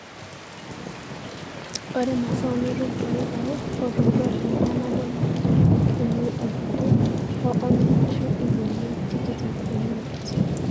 ore masao nitum too ilpaek otoito teika nabo naa illkiloi iip are o onom ashu ilbenia tikitam o imiet